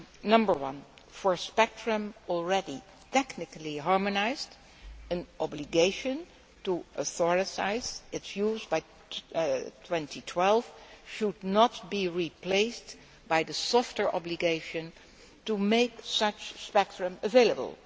Number one for spectrum already technically harmonised, an obligation to authorise its use by 2012 should not be replaced by the softer obligation to make such spectrum available.